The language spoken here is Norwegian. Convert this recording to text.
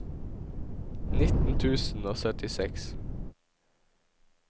nitten tusen og syttiseks